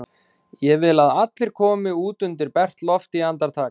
Ég vil að allir komi út undir bert loft í andartak!